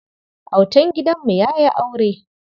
Autan gidanmu ya yi aure.